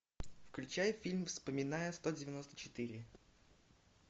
включай фильм вспоминая сто девяносто четыре